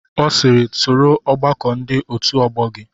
Ọ sịịrị, soro ọgbakọ ndị otu ọgbọ gị!